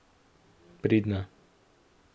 Pridna.